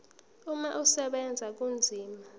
umama usebenza kanzima